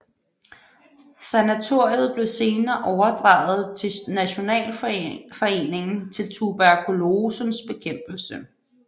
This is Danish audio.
Sanatoriet blev senere overdraget til Nationalforeningen til Tuberkulosens Bekæmpelse